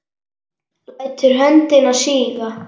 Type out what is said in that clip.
Lætur höndina síga.